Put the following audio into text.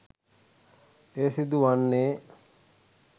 එය සිදු වන්නේ